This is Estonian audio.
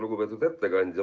Lugupeetud ettekandja!